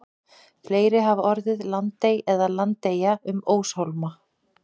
Fleiri hafa orðið landey eða landeyja um óshólma.